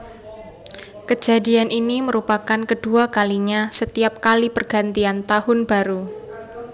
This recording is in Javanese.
Kejadian ini merupakan kedua kalinya setiap kali pergantian tahun baru